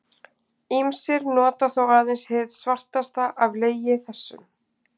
Ýmsir nota þó aðeins hið svartasta af legi þessum.